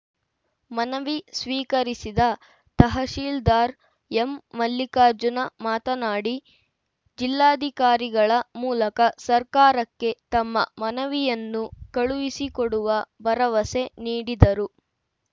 ಮನವಿ ಸ್ವೀಕರಿಸಿದ ತಹಸೀಲ್ದಾರ್‌ ಎಂಮಲ್ಲಿಕಾರ್ಜುನ ಮಾತನಾಡಿ ಜಿಲ್ಲಾಧಿಕಾರಿಗಳ ಮೂಲಕ ಸರ್ಕಾರಕ್ಕೆ ತಮ್ಮ ಮನವಿಯನ್ನು ಕಳುಹಿಸಿಕೊಡುವ ಭರವಸೆ ನೀಡಿದರು